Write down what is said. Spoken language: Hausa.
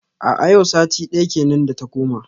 A a yau sati daya kenan da ta koma.